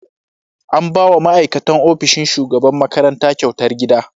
An ba wa ma'aikatan ofishin shugaban makaranta kyautar gida.